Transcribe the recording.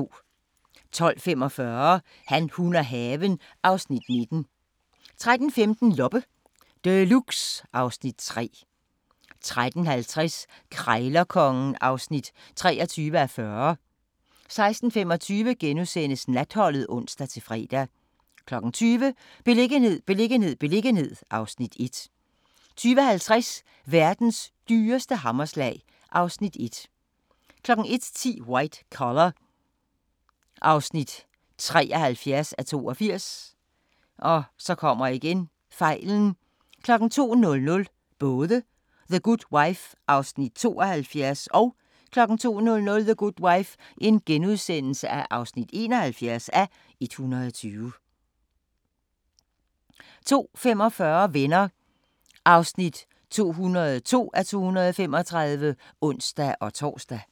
12:45: Han, hun og haven (Afs. 19) 13:15: Loppe Deluxe (Afs. 3) 13:50: Krejlerkongen (23:40) 16:25: Natholdet *(ons-fre) 20:00: Beliggenhed, beliggenhed, beliggenhed (Afs. 1) 20:50: Verdens dyreste hammerslag (Afs. 1) 01:10: White Collar (73:82) 02:00: The Good Wife (72:120) 02:00: The Good Wife (71:120)* 02:45: Venner (202:235)(ons-tor)